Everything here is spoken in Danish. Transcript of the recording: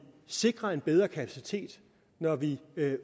sikrer en bedre kapacitet når vi